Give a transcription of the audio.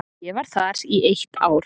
Ég var þar í eitt ár.